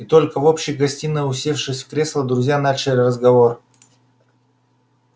и только в общей гостиной усевшись в кресла друзья начали разговор